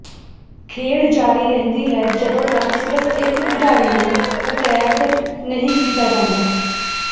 ਖੇਡ ਜਾਰੀ ਰਹਿੰਦੀ ਹੈ ਜਦੋਂ ਤੱਕ ਸਿਰਫ ਇੱਕ ਖਿਡਾਰੀ ਨੂੰ ਅਟੈਗਡ ਨਹੀਂ ਕੀਤਾ ਜਾਂਦਾ